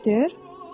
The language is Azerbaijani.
Milçəkdir?